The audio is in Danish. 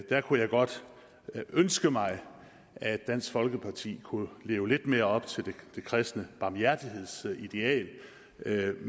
der kunne jeg godt ønske mig at dansk folkeparti kunne leve lidt mere op til det kristne barmhjertighedsideal